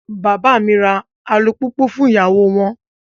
Bàbá mi ra alùpùpù fún ìyàwó won.